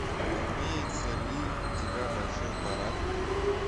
имеется ли у тебя большой парад